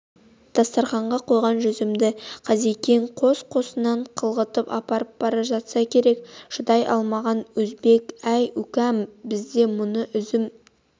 дастарханға қойған жүзімді қазекең қос-қосынан қылғытып опырып бара жатса керек шыдай алмаған өзбек әй укам бізде мұны үзім